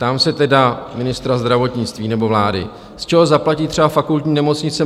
Ptám se tedy ministra zdravotnictví nebo vlády, z čeho zaplatí třeba Fakultní nemocnice